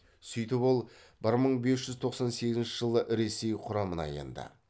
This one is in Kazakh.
сөйтіп ол бір мың бес жүз тоқсан сегізінші жылы ресей құрамына енді